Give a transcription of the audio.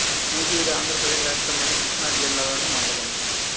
నూజివీడు ఆంధ్ర ప్రదేశ్ రాష్ట్రములోని కృష్ణా జిల్లా లోని మండలం